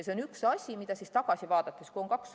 See on üks asi, mida tagasi vaadates saab hinnata.